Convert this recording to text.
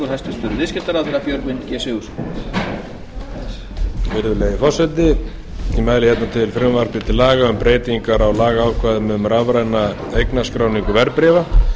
hæstvirtur forseti ég mæli hér fyrir frumvarpi til laga um um breytingar á lagaákvæðum um rafræna eignarskráningu verðbréfa